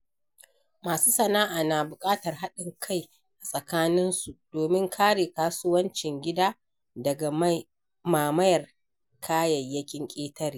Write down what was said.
Masu sana’a na buƙatar haɗin kai a tsakaninsu domin kare kasuwancin gida daga mamayar kayayyakin ƙetare.